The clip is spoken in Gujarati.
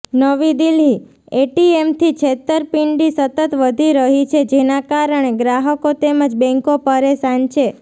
નવી દિલ્હીઃ એટીએમથી છેતરપિંડી સતત વધી રહી છે જેના કારણે ગ્રાહકો તેમજ બેંકો પરેશાન છે